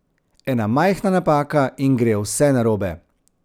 Ena majhna napaka in gre vse narobe.